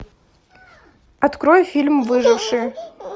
открой фильм выжившие